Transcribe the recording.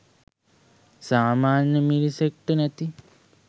සාමාන්‍ය මිනිසෙක්ට නැති